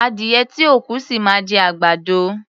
Adìyẹ tí ò kú, ṣì máa jẹ àgbàdo.